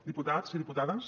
diputats i diputades